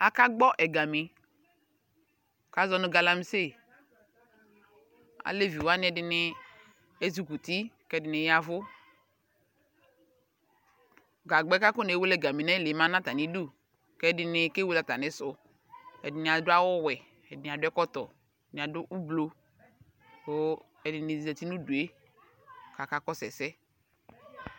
Akagbɔ ɛga mí kazɔnʋ galamse Aleviwani ɛdini ezukuti k'ɛdini yavʋ Gagba yɛ kakɔ newele gami yɛ nayili yɛ ma n'atamidu k'ɛdini kewele atamisʋ Ɛdini adʋ awʋ wɛ, ɛdini adʋ ɛkɔtɔ, ɛdini adʋ ʋlbo kʋ ɛdini zati n'ʋdue kaka kɔsʋ ɛsɛ